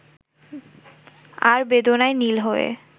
আর বেদনায় নীল হয়ে